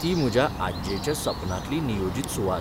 ती म्हज्या आज्जेच्या सपनांतली नियोजित सुवात .